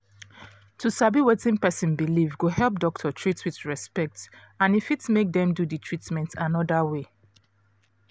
to sabi wetin person believe go help doctor treat with respect and e fit make dem do the treatment another way